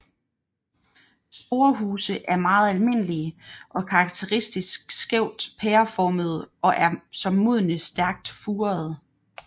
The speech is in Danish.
Sporehuse er meget almindelige og er karakteristisk skævt pæreformede og er som modne stærkt furede